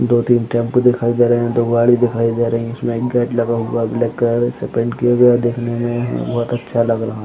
दो तीन टैम्पो दिखाई दे रहा है दो गाड़ी दिखाई दे रहा है इसमें एक गेट लगा हुआ है रेड कलर से पेंट किया हुआ है दिखने में बहुत अच्छा लग रहा है।